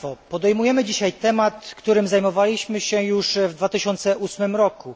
Podejmujemy dzisiaj temat, którym zajmowaliśmy się już w 2008 roku.